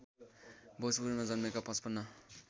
भोजपुरमा जन्मेका ५५